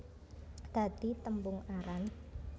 Dadi tembung aran